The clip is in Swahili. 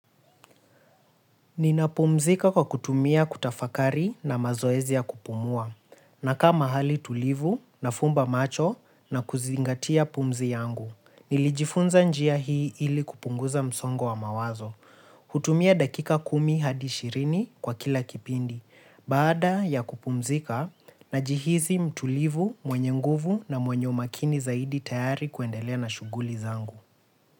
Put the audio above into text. Ninapumzika kwa kutumia kutafakari na mazoezi ya kupumua, na kama hali tulivu, nafumba macho na kuzingatia pumzi yangu. Nilijifunza njia hii ili kupunguza msongo wa mawazo. Hutumia dakika kumi hadi ishirini kwa kila kipindi, baada ya kupumzika na jihisi mtulivu, mwenye nguvu na mwenye umakini zaidi tayari kuendelea na shuguli zangu.